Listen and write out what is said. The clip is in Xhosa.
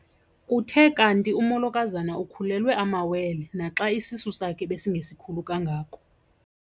Kuthe kanti umolokazana ukhulelwe amawele naxa isisu sakhe besingesikhulu kangako.